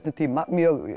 tíma mjög